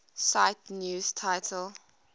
cite news title